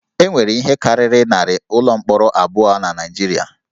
E nwere ihe karịrị narị ụlọ mkpọrọ abụọ na Naịjirịa